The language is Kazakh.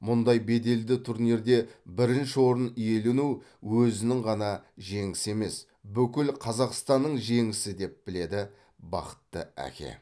мұндай беделді турнирде бірінші орын иелену өзінің ғана жеңісі емес бүкіл қазақстанның жеңісі деп біледі бақытты әке